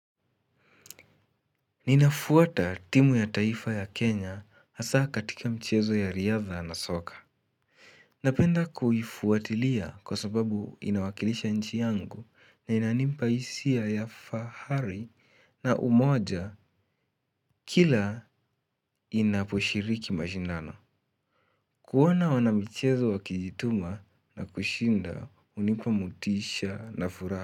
Ninafuata timu ya taifa ya kenya gasa katika michezo ya riadha na soka. Napenda kuifuatilia kwa sababu inawakilisha nchi yangu na inanimpa hisia ya fahari na umoja kila inaposhiriki mashindano. Kuona wanamichezo wakijituma na kushinda hunipa motisha na furaha.